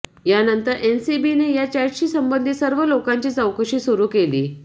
यानंतर एनसीबीने या चॅटशी संबंधित सर्व लोकांची चौकशी सुरू केली